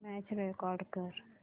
match record कर